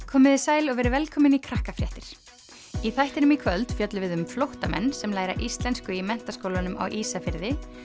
komiði sæl og verið velkomin í Krakkafréttir í þættinum í kvöld fjöllum við um flóttamenn sem læra íslensku í Menntaskólanum á Ísafirði